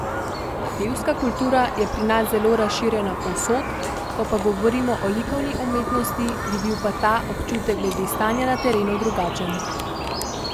Pevska kultura je pri nas zelo razširjena povsod, ko pa govorimo o likovni umetnosti, bi bil pa ta občutek glede stanja na terenu drugačen.